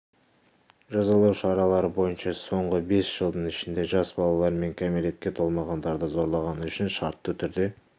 жазалау шаралары бойынша соңғы бес жылдың ішінде жас балалар мен кәмелетке толмағандарды зорлағаны үшін шартты түрде